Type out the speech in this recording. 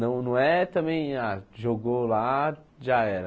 Não não é também ah, jogou lá, já era.